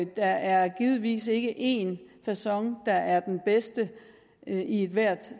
der er givetvis ikke én facon der er den bedste i ethvert